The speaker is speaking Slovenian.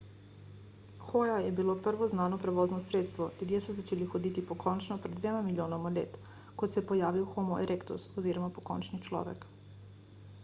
hoja je bilo prvo znano prevozno sredstvo ljudje so začeli hoditi pokončno pred dvema milijonoma let ko se je pojavil homo erectus oziroma pokončni človek